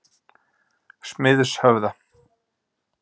Smiðshöfða